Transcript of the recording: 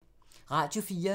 Radio 4